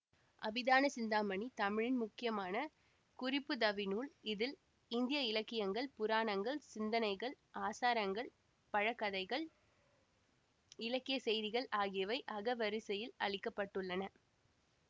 அபிதான சிந்தாமணி தமிழின் முக்கியமான குறிப்புதவிநூல் இதில் இந்திய இலக்கியங்கள் புராணங்கள் சிந்தனைகள் ஆசாரங்கள் பழங்கதைகள் இலக்கியசெய்திகள் ஆகியவை அகவரிசையில் அளிக்கப்பட்டுள்ளன